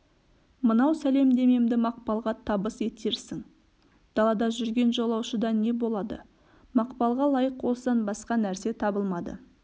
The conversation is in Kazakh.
мынау сәлемдемемді мақпалға табыс етерсің далада жүрген жолаушыда не болады мақпалға лайық осыдан басқа нәрсе табылмады